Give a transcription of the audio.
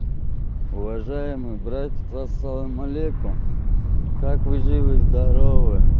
уважаемые братья ассалам алейкум как вы живы здоровы